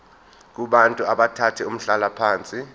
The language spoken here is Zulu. kubantu abathathe umhlalaphansi